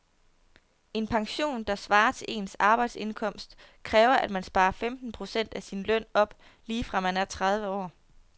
En pension, der svarer til ens arbejdsindkomst, kræver at man sparer femten procent af sin løn op lige fra man er tredive år.